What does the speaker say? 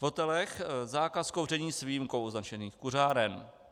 V hotelech - zákaz kouření s výjimkou označených kuřáren.